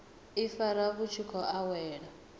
ifara vhu tshi khou wela